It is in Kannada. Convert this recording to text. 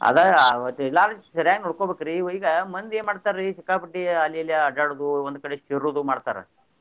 ಅದ ಒಟ್ ಎಲ್ಲಾನು ಸರಿಯಾಗಿ ನೋಡಕೋಬೇಕ್ರಿ ಈಗ ಮಂದಿ ಏನ್ ಮಾಡ್ತಾರಿ ಸಿಕ್ಕಾ ಪಟ್ಟಿ ಅಲ್ಲಿ ಇಲ್ಲೆ ಅಡ್ಯಾಡೊದು ಒಂದ್ ಕಡೆ ಸೇರುದು ಮಾಡ್ತಾರ.